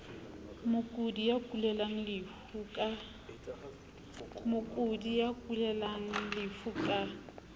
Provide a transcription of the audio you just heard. mokudi ya kulelang lefu ka